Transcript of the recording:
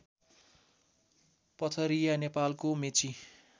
पथरिया नेपालको मेची